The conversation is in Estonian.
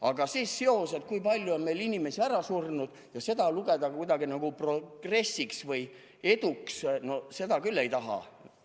Aga see seos, et kui palju on meil inimesi ära surnud, ja seda lugeda nagu progressiks või eduks, seda küll ei taha.